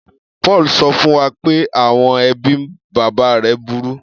Paul sọ fún wa pé àwọn ẹbí bàbá rẹ̀ burú.